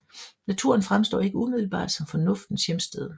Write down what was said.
Naturen fremstår ikke umiddelbart som Fornuftens hjemsted